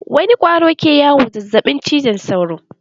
Wani ƙwaro ke kawo zazzaɓin cizon sauro?